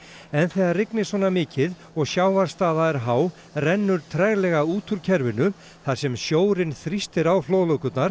en þegar rignir svona mikið og sjávarstaða er há rennur treglega út út kerfinu þar sem sjórinn þrýstir á